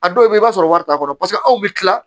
A dɔw bɛ yen i b'a sɔrɔ wari t'a kɔnɔ paseke aw bɛ tila